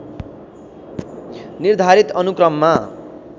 निर्धारित अनुक्रममा